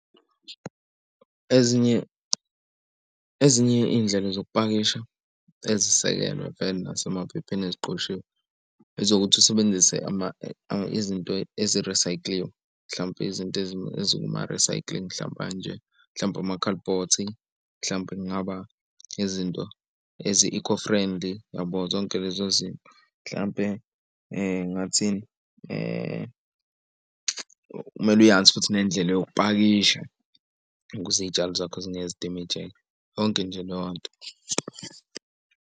Ezinye ezinye iy'ndlela zokupakisha ezisekelwe vele nasemaphepheni eziqoshiwe ezokuthi usebenzise izinto eze-recycle-liwe. Mhlampe izinto ezikuma-recycling mhlawumpe kanje mhlawumbe amakhalibhothi mhlampe kungaba izinto ezi-eco-friendly yabo. Zonke lezo zinto, mhlampe ngathini kumele uyazi futhi nendlela zokupakisha ukuze iy'tshalo zakho zingeke zidemejeke yonke nje leyo nto.